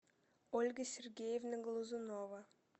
ольга сергеевна глазунова